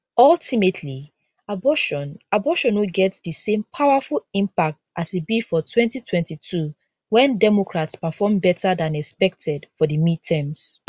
ultimately abortion abortion no get di same powerful impact as e be for 2022 wen democrats perform better dan expected for di midterms